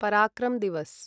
पराक्रम् दिवस्